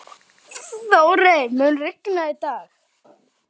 Þórey, mun rigna í dag?